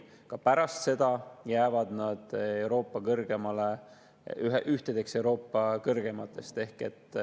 Ka pärast seda jäävad need ühtedeks Euroopa kõrgeimatest.